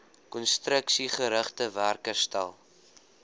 konstruksiegerigte werk herstel